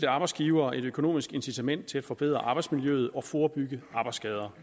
arbejdsgivere et økonomisk incitament til at forbedre arbejdsmiljøet og forebygge arbejdsskader